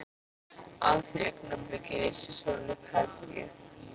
Á því augnabliki lýsir sólin upp herbergið.